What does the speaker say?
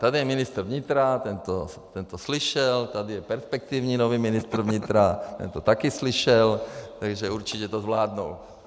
Tady je ministr vnitra, ten to slyšel, tady je perspektivní nový ministr vnitra, ten to taky slyšel, takže určitě to zvládnou.